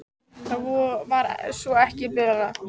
Það var svo sem ekki verið að tala um kaup.